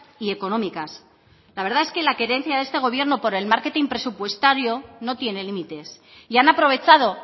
y económicas la verdad es que la querencia de este gobierno por el marketing presupuestario no tiene límites y han aprovechado